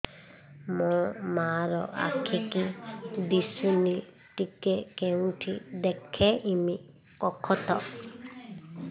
ମୋ ମା ର ଆଖି କି ଦିସୁନି ଟିକେ କେଉଁଠି ଦେଖେଇମି କଖତ